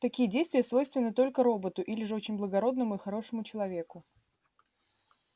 такие действия свойственны только роботу или же очень благородному и хорошему человеку